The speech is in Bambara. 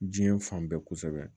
Diɲɛ fan bɛɛ kosɛbɛ